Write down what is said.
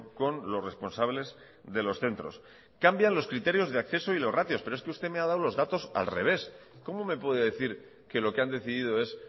con los responsables de los centros cambian los criterios de acceso y los ratios pero es que usted me ha dado los datos al revés cómo me puede decir que lo que han decidido es